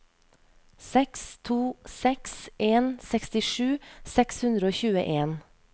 seks to seks en sekstisju seks hundre og tjueen